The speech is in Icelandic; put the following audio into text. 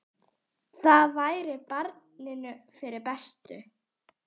Það væri barninu fyrir bestu.